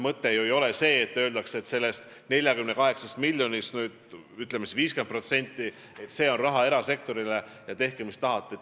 Mõte ei ole ju see, et öeldakse, et sellest 48 miljonist 50% on mõeldud erasektorile ja tehke mis tahate.